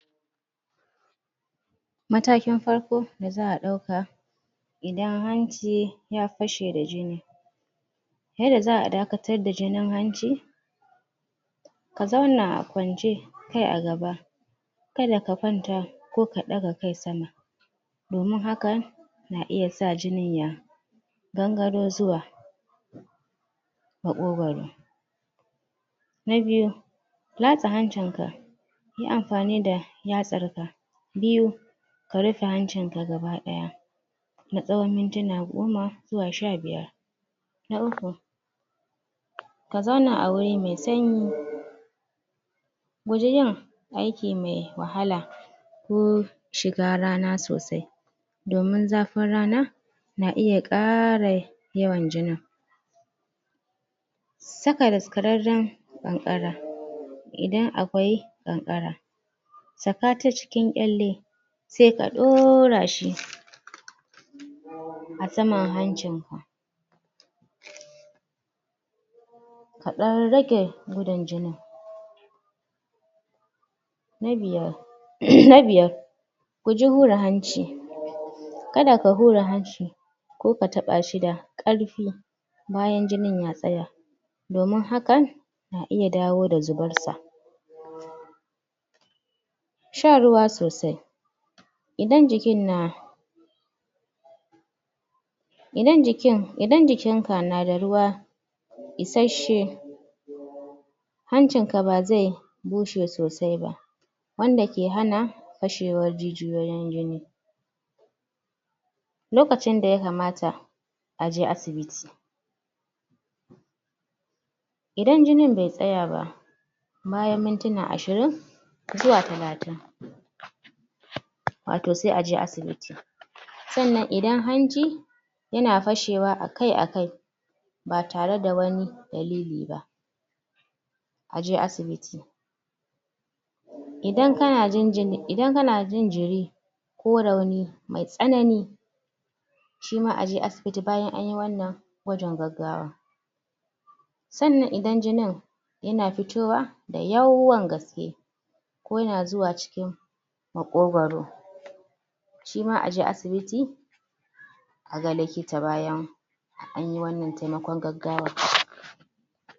matakin far da za'a ɗauka idan hanci fashe da jini yadda za'a daka tar da jinin hanci, ka zauna kwance kai agaba kada ka kwnta koka ɗaga kai sama domin haka na iya sa jini ya gangaro zuwa maƙogoro na biyu latsa hancin ka yi anfani da yatsar ka biyu ka rufe hancin ka gaba ɗaya na tsawon mintuna goma zuwa sha biyar na uku ka zauna a wuri mai sanyi guji yin ai kime wahala ko shiga rana sosai domin fa tana, na iya ƙara yawan jini saka das kararran ƙanƙara idan akwai ƙanƙara saka ta ciki ƙyalle sai kaɗ= ɗora shi saman hancin ka ɗdan rage da yawan na biyar ]?] na biyar guji hura hanci kada ka hura hanci ko ka taɓashi sa ƙarfi bayan jinin ya tsaya domin hakan na iya dawo da zubar sa shan ruwa sosai idan jikin na idan jikin idan jikin ka nada ruwa isasshe hancin ka bazai bushe sosai ba wanda ke hana fashewar jijiyoyin jini lokacin da ya kamata aje asibiti idan jinin bai tsaya ba bayan mintina ashirin zuwa talatin wato sai aje asibiti sannan idan anji yana fashewa akai akai ba tare da wani dalili ba aje asibiti idan kana jin jini idan kana jin jiri ko rauni mai tsanani shi ma aje as biti bayan anyi wannan gwajin gaggawa sannan idan jinin sannan idan jinin yana fitowa da yawan ke ko yana zuwa cikin maƙogoro shima aje asibiti aga llikita bayan anyi wannan tainakon gaggawar